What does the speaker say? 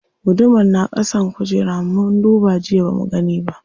Gudumar na ƙasan kujera, mun duba jiya bamu gani ba.